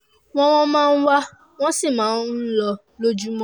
wọ́n wọ́n máa ń wá wọ́n sì máa ń um lọ lójúmọ́